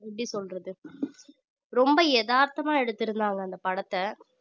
எப்படி சொல்றது ரொம்ப எதார்த்தமா எடுத்திருந்தாங்க அந்தப் படத்தை